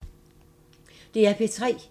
DR P3